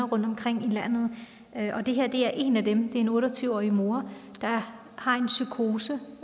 rundtomkring i landet det her er en af dem det er en otte og tyve årig mor der har en psykose